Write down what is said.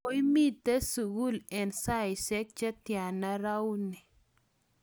koimite sukul eng' saisiek che tyana rauni?